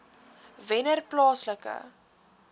wennerplaaslike